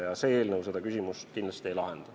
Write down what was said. Ja see eelnõu seda küsimust kindlasti ei lahenda.